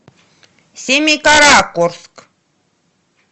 семикаракорск